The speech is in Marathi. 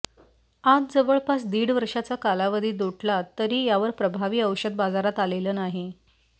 आज जवळपास दीड वर्षाचा कालावधी लोटला तरी यावर प्रभावी औषध बाजारात आलेलं नाही